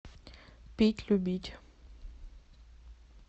пить любить